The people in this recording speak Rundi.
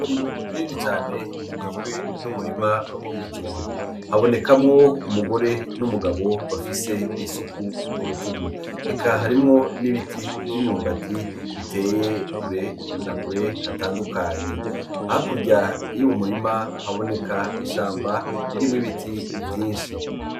Ngu ririni cane rigizwe n'umurima w'ibijumbo habonekamwo umugore n'umugabo bafise isuku ku rutugu eka harimwo n'ibiti ivyo inyumbati biteye kure na kure hatandukanye hakurya iyo uu murima haboneka ishamba ririmwo ibiti vyinshi.